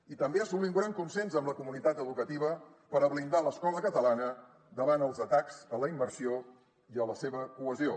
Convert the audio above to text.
i també assolir un gran consens amb la comunitat educativa per a blindar l’escola catalana davant els atacs a la immersió i a la seva cohesió